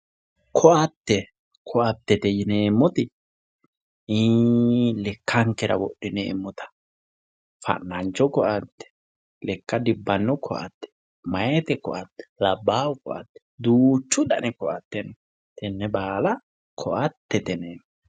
Koattete yineemmoti lekkankera wodhineemmota fa'nancho koatte lekka dibbanno koatte meyaate koatte labbaahu koatte duuchu dani koatte notenne baala koattete yoneemmo